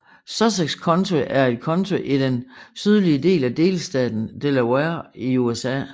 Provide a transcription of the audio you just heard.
Sussex County er et county i den sydlige del af delstaten Delaware i USA